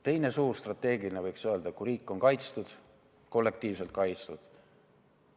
Teine suur strateegiline, võiks öelda, hoiak on see, et riik on kaitstud, kollektiivselt kaitstud.